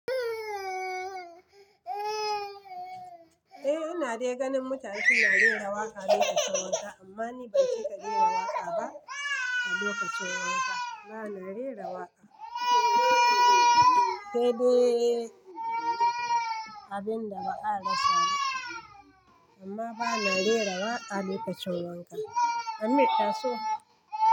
Eh ina de ganin mutane suna rera waƙa lokacin wanka amma ni ban cika rera waƙa ba a lokacin wanka. Bana rera waƙa sai dai abin da ba a rasa ba amma bana rera waƙa lokacin wanka. Ameer taso.